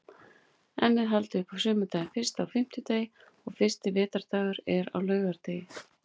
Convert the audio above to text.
Enn er haldið upp á sumardaginn fyrsta á fimmtudegi og fyrsti vetrardagur er á laugardegi.